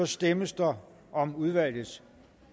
stemmes der om udvalgets